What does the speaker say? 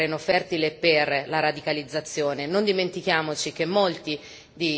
Queste sono le cause che creano il terreno fertile per la radicalizzazione.